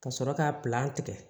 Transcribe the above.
Ka sɔrɔ ka tigɛ